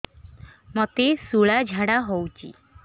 ମୋତେ ଶୂଳା ଝାଡ଼ା ହଉଚି